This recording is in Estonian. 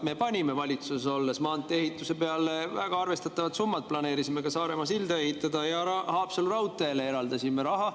Me panime valitsuses olles maantee‑ehituse peale väga arvestatavad summad, planeerisime ka Saaremaa silda ehitada ja Haapsalu raudteele eraldasime raha.